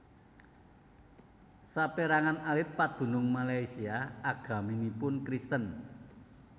Saperangan alit padunung Malaysia agaminipun Kristen